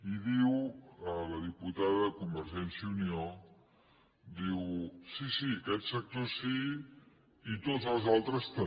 i diu la diputada de convergència i unió sí sí aquest sector sí i tots els altres també